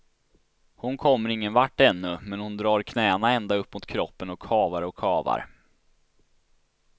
Hon kommer ingen vart ännu, men hon drar knäna ända upp mot kroppen och kavar och kavar.